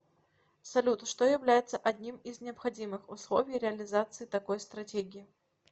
салют что является одним из необходимых условий реализации такой стратегии